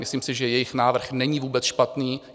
Myslím si, že jejich návrh není vůbec špatný.